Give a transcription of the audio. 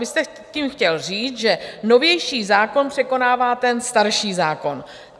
Vy jste tím chtěl říct, že novější zákon překonává ten starší zákon.